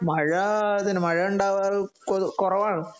മഴ അതുതന്നെ മഴ ഉണ്ടാവാർ കുറവാണ്